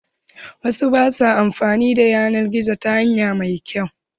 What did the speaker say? Wasu ba sua amfani da yanar gizo ta hanya mai kyau.